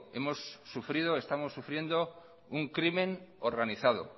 hemos sufrido estamos sufriendo un crimen organizado